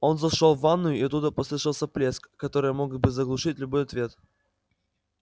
он зашёл в ванную и оттуда послышался плеск который мог бы заглушить любой ответ